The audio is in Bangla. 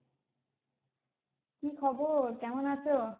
কি খবর? কেমন আছো?